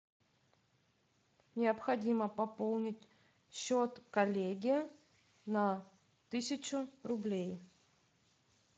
необходимо пополнить счет коллеге на тысячу рублей